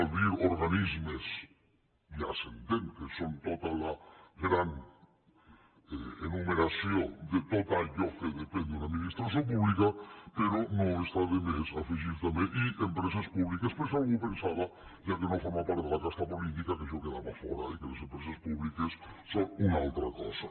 al dir organismes ja s’entén que són tota la gran enumeració de tot allò que depèn d’una administració pública però no està de més afegir també i empreses públiques per si algú pensava ja que no forma part de la casta política que això en quedava fora i que les empreses públiques són una altra cosa